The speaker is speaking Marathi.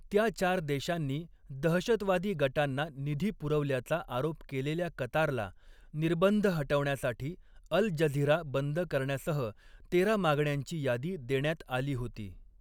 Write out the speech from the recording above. त्या चार देशांनी दहशतवादी गटांना निधी पुरवल्याचा आरोप केलेल्या कतारला, निर्बंध हटविण्यासाठी अल जझिरा बंद करण्यासह तेरा मागण्यांची यादी देण्यात आली होती.